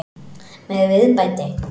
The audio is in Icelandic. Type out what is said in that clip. Með viðbæti.